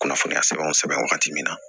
Kunnafoniya sɛbɛn sɛbɛn wagati min na